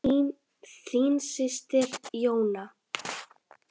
Þín systir, Jóna.